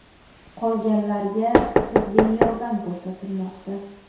Qolganlarga tibbiy yordam ko‘rsatilmoqda.